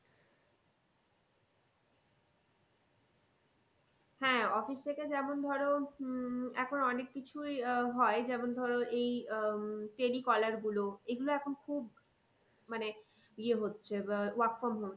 হ্যাঁ office থেকে যেমন ধরো উম এখন অনেক কিছুই আহ হয় যেমন ধরো এই আহ telecaller গুলো এগুলো এখন খুব মানে ইয়ে হচ্ছে আহ work from home